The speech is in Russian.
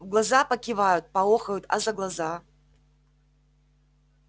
в глаза покивают поохают а за глаза